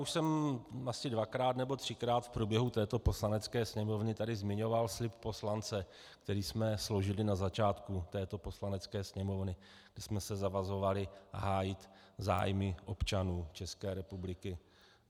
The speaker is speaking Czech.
Už jsem asi dvakrát nebo třikrát v průběhu této Poslanecké sněmovny tady zmiňoval slib poslance, který jsme složili na začátku této Poslanecké sněmovny, kdy jsme se zavazovali hájit zájmy občanů České republiky.